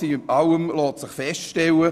Alles in allem lässt sich feststellen: